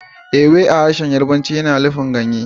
Ewe a harshen Yarbanci na nufin ganye